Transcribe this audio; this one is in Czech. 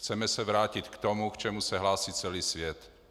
Chceme se vrátit k tomu, k čemu se hlásí celý svět.